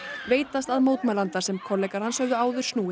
veitast að mótmælanda sem kollegar hans höfðu áður snúið